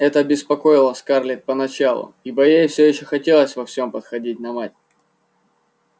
это беспокоило скарлетт поначалу ибо ей всё ещё хотелось во всем походить на мать